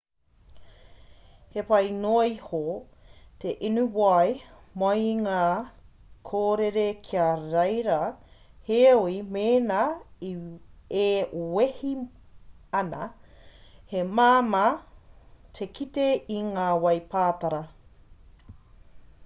he pai noa iho te inu wai mai i ngā kōrere ki reira heoi mēnā e wehi ana he māmā te kite i ngā wai pātara